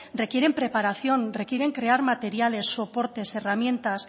requieren preparación requieren crear materiales soportes herramientas